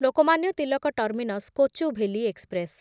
Lokmanya Tilak terminus Kochuveli express